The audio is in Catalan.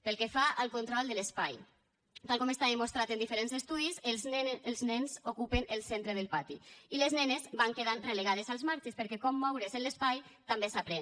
pel que fa al control de l’espai tal com està demostrat en diferents estudis els nens ocupen el centre del pati i les nenes van quedant relegades als marges perquè com moure’s en l’espai també s’aprèn